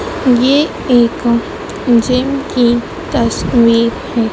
ये एक जिम की तस्वीर है।